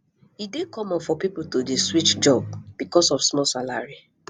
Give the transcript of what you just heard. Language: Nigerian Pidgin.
e dey common for pipo to dey switch job because of small salary